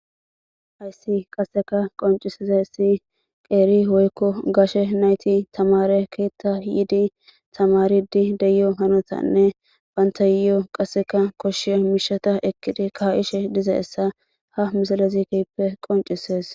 Hayssi qasseka qoncisizayssi qeeri woykko gashe nayti tamaare keetta yiidi tamaridi deyo hanotanne banttayo qasseka koshshiya miishata ekkidi ka7ishe dizayssa ha misalez keehippe qonccisees.